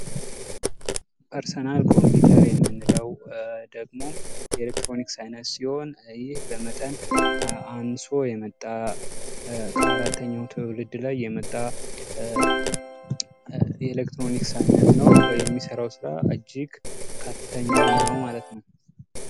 ፐርሰናል ኮምፒተር ይንምንለው ደግሞ የኤሌክትሮኒክስ አይነት ሲሆን ይህ በመጠን አንሶ የመጣ ከአራተኛው ትውልድ ላይ የመጣ የ ኤሌክትሮኒክስ አይነት ነው:: የሚሰራው ሥራ እጅግ ከፍተኛ ነው ማለት ነው::